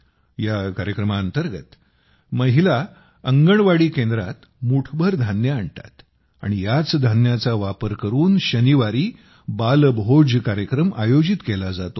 या कार्यक्रमांतर्गत महिला अंगणवाडी केंद्रात मूठभर धान्य आणतात आणि याच धान्याचा वापर करून शनिवारी बालभोज कार्यक्रम आयोजित केला जातो